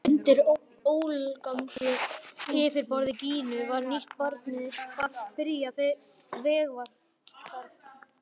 Og undir ólgandi yfirborði Gínu var nýtt barn byrjað vegferð.